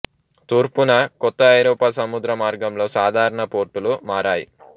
తూర్పున కొత్త ఐరోపా సముద్ర మార్గంలో సాధారణ పోర్టులు మారాయి